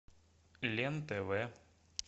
лен тв